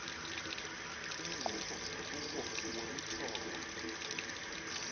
inkqubo kuwo wolithoba